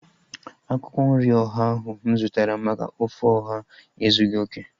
Akwụkwọ nri ọha ahu mụ zụtara maka ofe ọha ezughị okè